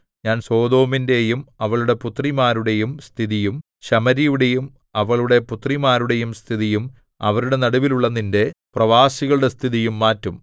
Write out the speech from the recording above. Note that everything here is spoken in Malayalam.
ഞാൻ സൊദോമിന്റെയും അവളുടെ പുത്രിമാരുടെയും സ്ഥിതിയും ശമര്യയുടെയും അവളുടെ പുത്രിമാരുടെയും സ്ഥിതിയും അവരുടെ നടുവിൽ ഉള്ള നിന്റെ പ്രവാസികളുടെ സ്ഥിതിയും മാറ്റും